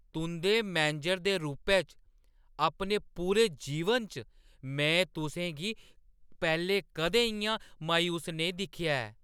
तुंʼदे मैनेजर दे रूपै च अपने पूरे जीवन च, में तुसें गी पैह्‌लें कदें इʼयां मायूस नेईं दिक्खेआ ऐ।